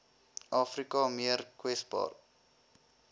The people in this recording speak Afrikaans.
afrika meer kwesbaar